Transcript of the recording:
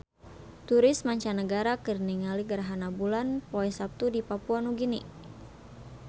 Turis mancanagara keur ningali gerhana bulan poe Saptu di Papua Nugini